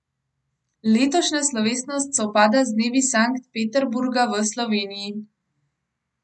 Letošnja slovesnost sovpada z dnevi Sankt Peterburga v Sloveniji.